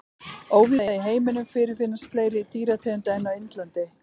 Óvíða í heiminum fyrirfinnast fleiri dýrategundir en á Indlandi.